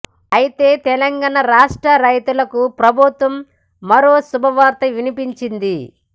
అయితే తెలంగాణ రాష్ట్ర రైతులకు ప్రభుత్వం మరో శుభవార్త వినిపించింది